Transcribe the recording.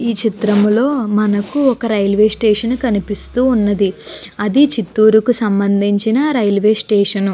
ఈ చిత్రం లో మనకి ఒక రైల్వే స్టేషన్ కనిపిస్తూ ఉన్నది అది చిత్తూర్ కు సంభందించిన రైల్వే స్టేషన్ .